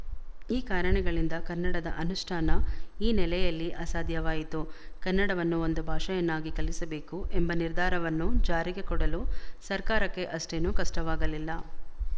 ಈ ಕಾರಣಗಳಿಂದ ಕನ್ನಡದ ಅನುಷ್ಠಾನ ಈ ನೆಲೆಯಲ್ಲಿ ಅಸಾಧ್ಯವಾಯಿತು ಕನ್ನಡವನ್ನು ಒಂದು ಭಾಷೆಯನ್ನಾಗಿ ಕಲಿಸಬೇಕು ಎಂಬ ನಿರ್ಧಾರವನ್ನು ಜಾರಿಗೆ ಕೊಡಲು ಸರ್ಕಾರಕ್ಕೆ ಅಷ್ಟೇನೂ ಕಷ್ಟವಾಗಲಿಲ್ಲ